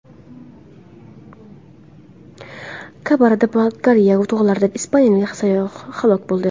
Kabarda-Balkariya tog‘larida ispaniyalik sayyoh halok bo‘ldi.